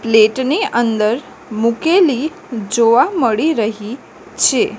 Plate ની અંદર મુકેલી જોવા મળી રહી છે.